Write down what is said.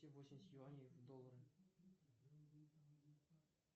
восемьдесят юаней в доллары